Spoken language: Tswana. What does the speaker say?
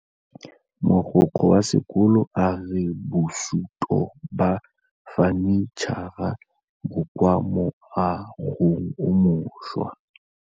Mogokgo wa sekolo a re bosutô ba fanitšhara bo kwa moagong o mošwa.